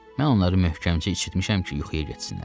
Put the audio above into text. Mən onları möhkəmcə içirtmişəm ki, yuxuya getsinlər.